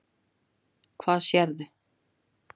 Hvað sérðu?